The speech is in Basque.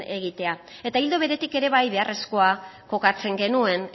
egitea eta ildo beretik ere bai beharrezkoa kokatzen genuen